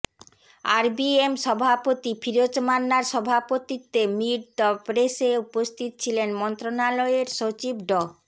RBM সভাপতি ফিরোজ মান্নার সভাপতিত্বে মিট দ্য প্রেসে উপস্থিত ছিলেন মন্ত্রণালয়ের সচিব ড